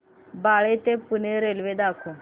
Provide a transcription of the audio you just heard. बाळे ते पुणे रेल्वे दाखव